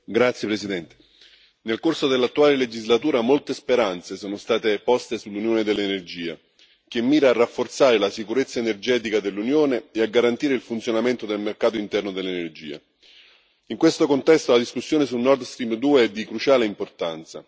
Signora Presidente, onorevoli colleghi, nel corso dell'attuale legislatura molte speranze sono state poste sull'Unione dell'energia, che mira a rafforzare la sicurezza energetica dell'Unione e a garantire il funzionamento del mercato interno dell'energia. In questo contesto la discussione sul NordStream 2 è di cruciale importanza.